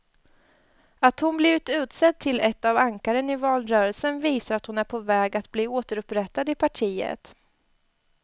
Att hon blivit utsedd till ett av ankaren i valrörelsen visar att hon är på väg att bli återupprättad i partiet.